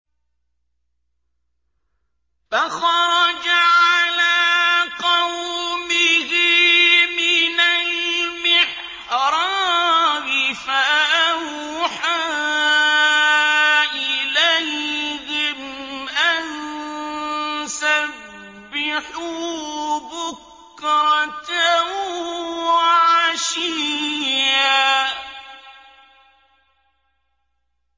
فَخَرَجَ عَلَىٰ قَوْمِهِ مِنَ الْمِحْرَابِ فَأَوْحَىٰ إِلَيْهِمْ أَن سَبِّحُوا بُكْرَةً وَعَشِيًّا